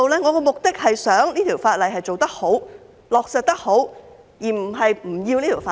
我的目的是想這項法例做得好、落實得好，而並非不要這項法例。